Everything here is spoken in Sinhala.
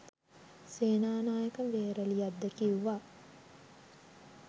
සේනානායක වේරලියද්ද කිව්වා